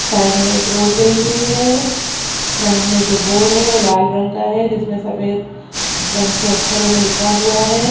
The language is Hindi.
साइड में एक रोड गई हुई हैं फ्रंट में जो बोर्ड है वो लाल रंग का है जिसमें सफ़ेद रंग से अक्षरों से लिखा हुआ है।